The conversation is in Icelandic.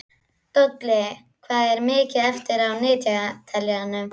Dolli, hvað er mikið eftir af niðurteljaranum?